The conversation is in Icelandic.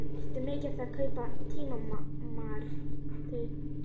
Ertu mikið að kaupa tímarit?